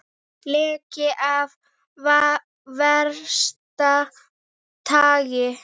Leki af versta tagi